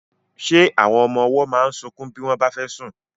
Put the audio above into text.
Ṣé àwọn ọmọ ọwọ́ máa ń sunkún bí wọ́n bá fẹ́ sùn?